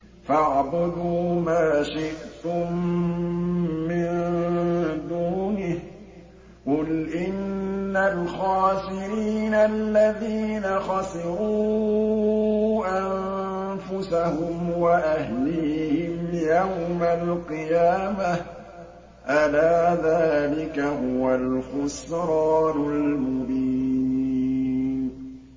فَاعْبُدُوا مَا شِئْتُم مِّن دُونِهِ ۗ قُلْ إِنَّ الْخَاسِرِينَ الَّذِينَ خَسِرُوا أَنفُسَهُمْ وَأَهْلِيهِمْ يَوْمَ الْقِيَامَةِ ۗ أَلَا ذَٰلِكَ هُوَ الْخُسْرَانُ الْمُبِينُ